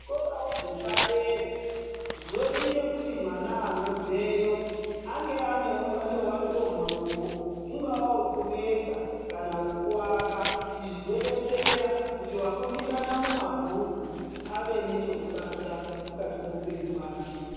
Zvikorawo zvepadera zvoite kuti mwana anobveyo ange anewo mubato wake wemaoko ungawa wekuveza kana wokuwaka. Izvi zvodetsera kuti wakundikana mumabhuku ave nechokubata mukati meupenyu hwake.